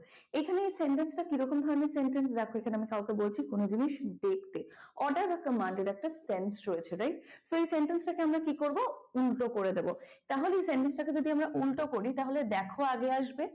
এখানে এই sentence টা কিরকম ধরনের sentence দেখো এখানে আমি কাউকে বলছি কোন জিনিস দেখতে, order বা command এর একটা sentence রয়েছে right? তো এই sentence টাকে আমরা কি করব উল্টো করে দেবো তাহলে এই sentence টাকে যদি আমরা উল্টো করি তাহলে দেখো আগে আসবে।